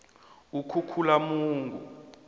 ukhukhulamungu